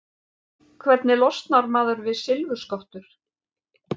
Hvernig losnar maður við silfurskottur?